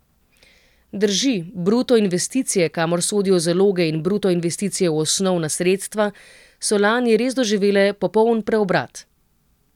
Drži, bruto investicije, kamor sodijo zaloge in bruto investicije v osnovna sredstva, so lani res doživele popoln preobrat.